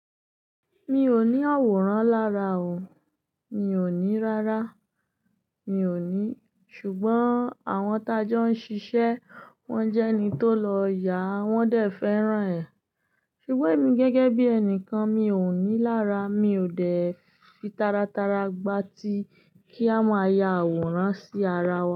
Mi ò ní àwòrán lára o, mi ò ní rárá, mi ò ní. Sugbon àwọn t'a jọ ń ṣiṣẹ́ wón jẹ́ ẹni tó lọ yà, wón dẹ̀ fẹ́ràn ẹ̀. Sugbon èmi gẹ́gẹ́ bí ẹnìkan mi ò ní lára, mi ò dẹ̀ fi taratara gba ti kí a máa ya àwòrán sí ara wa.